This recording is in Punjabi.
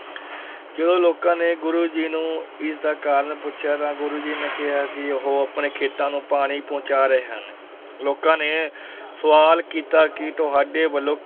ਜਦੋਂ ਲੋਕਾਂ ਨੇ ਗੁਰੂ ਜੀ ਨੂੰ ਇਸ ਦਾ ਕਾਰਨ ਪੁੱਛਿਆ ਤਾਂ ਗੁਰੂ ਜੀ ਨੇ ਕਿਹਾ ਕਿ ਉਹ ਆਪਣੇ ਖੇਤਾਂ ਨੂੰ ਪਾਣੀ ਪਹੁੰਚਾ ਰਹੇ ਹਨ, ਲੋਕਾਂ ਨੇ ਸੁਆਲ ਕੀਤਾ ਕਿ ਤੁਹਾਡੇ ਵੱਲੋਂ